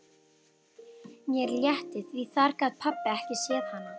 Mér létti því þar gat pabbi ekki séð hana.